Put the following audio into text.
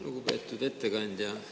Lugupeetud ettekandja!